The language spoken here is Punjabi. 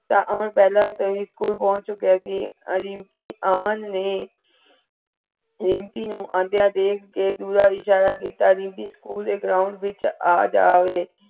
ਅਮਨ ਪਹੇਲੇ ਤੋਂ ਹੀ school ਪੋਚ ਚੁੱਕਿਆ ਸੀ ਰੀਮਪੀ ਅਮਨ ਨੇ ਰੀਮਪੀ ਨੂ ਆਂਦੀਆਂ ਦੇਖ ਕੇ ਦੁਰ ਨਾਲ ਇਸ਼ਾਰਾ ਕੀਤਾ ਰੀਮਪੀ school ਦੇ ground ਵਿਚ ਆ ਜਾਵੇ।